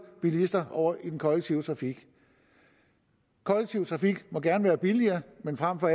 bilister over i den kollektive trafik kollektiv trafik må gerne være billigere men frem for